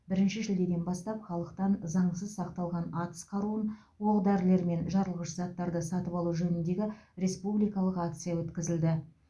бірінші шілдеден бастап халықтан заңсыз сақталған атыс қаруын оқ дәрілер мен жарылғыш заттарды сатып алу жөніндегі республикалық акция өткізілді